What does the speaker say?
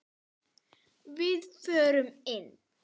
Við förum inn!